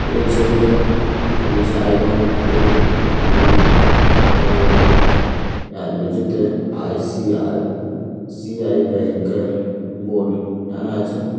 এই ছবিটো জায়গন ফুড মেন দোকানের বটে। যার নীচেতে আই..সি.আই.সি.আই. ব্যাঙ্ক -এর বোর্ড টাঙ্গা আছে ।